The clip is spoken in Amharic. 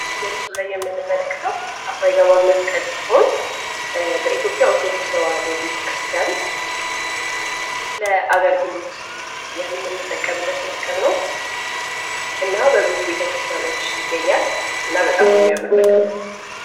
ይህ በምስሉ ላይ የምንመለከተው አፍሮ አይገባም መስቀል ሲሆን በኢትዮጵያ ኦርቶዶክስ ተዋህዶ ቤተክርስቲያን ለአገልግሎት የምንጠቀምበት መስቀል ነው። እና በብዙ ቤተ ክርስቲያኖች ይገኛል ።እና በጣም የሚያምር መስቀል ነው።